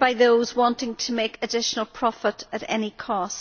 by those seeking to make additional profit at any cost.